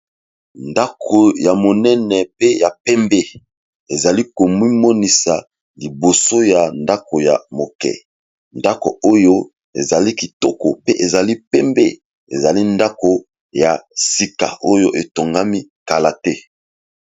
ndako ya monene pe ya pembe ezali komimonisa liboso ya ndako ya moke ndako oyo ezali kitoko pe ezali pembe ezali ndako ya sika oyo etongami kala te